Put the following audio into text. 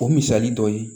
O misali dɔ ye